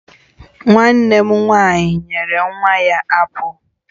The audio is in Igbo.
Nwannem nwanyi nye nwa ya apụl